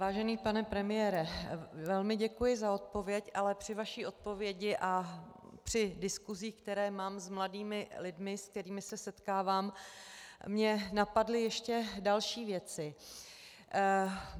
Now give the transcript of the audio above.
Vážený pane premiére, velmi děkuji za odpověď, ale při vaší odpovědi a při diskusích, které mám s mladými lidmi, se kterými se setkávám, mě napadly ještě další věci.